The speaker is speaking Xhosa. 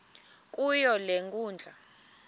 kuyo le nkundla